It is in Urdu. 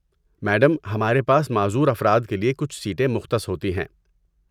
میڈم، ہمارے پاس معذور افراد کے لیے کچھ سیٹیں مختص ہوتی ہیں۔